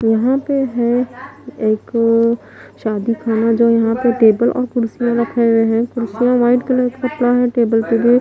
यहां पे है एक शादी खाना जो यहां पे टेबल और कुर्सियां रखे हुए हैं कुर्सियां व्हाइट कलर के कपड़ा है टेबल पे भी--